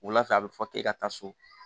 Wula fɛ a bɛ fɔ k'e ka taa so